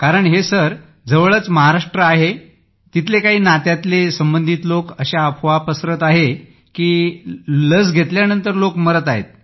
कारण हे सर जवळच महाराष्ट्र आहे तिथले काही नात्यातले संबंधित लोक अशी अफवा पसरवत आहेत की लस घेतल्यावर लोक मरत आहेत